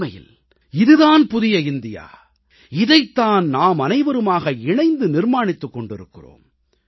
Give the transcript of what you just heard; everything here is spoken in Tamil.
உண்மையில் இது தான் புதிய இந்தியா இதைத் தான் நாமனைவருமாக இணைந்து நிர்மாணித்துக் கொண்டிருக்கிறோம்